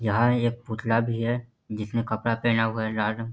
यहां एक पुतला भी है जिसने कपड़ा पहना हुआ है लाल रंग --